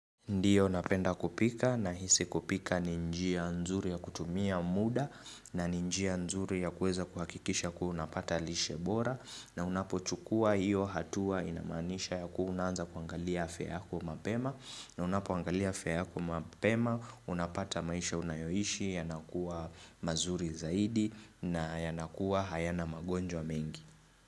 Ndiyo napenda kupika na hisi kupika ni njia nzuri ya kutumia muda na ni njia nzuri ya kuweza kuhakikisha kuwa unapata lishe bora na unapochukua hiyo hatua inamaanisha ya kuwa unaanza kuangalia afya yako mapema na unapoangalia afya yako mapema, unapata maisha unayoishi, yanakuwa mazuri zaidi na yanakuwa hayana magonjwa mengi.